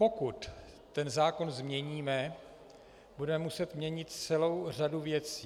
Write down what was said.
Pokud ten zákon změníme, budeme muset měnit celou řadu věcí.